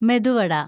medu വട